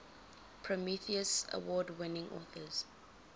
prometheus award winning authors